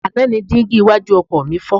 Àná ni dígí iwájú ọkọ̀ mi fọ́.